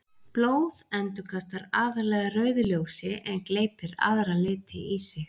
Blóð endurkastar aðallega rauðu ljósi en gleypir aðra liti í sig.